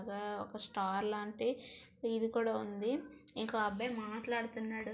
ఒక స్టార్ లాంటి ఇది కూడా ఉంది ఇంకో అబ్బాయి మాట్లాడుతున్నాడు.